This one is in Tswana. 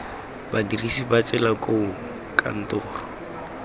badirisi ba tsela koo kantoro